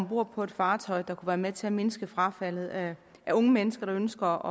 om bord på et fartøj der være med til at mindske frafaldet af unge mennesker der ønsker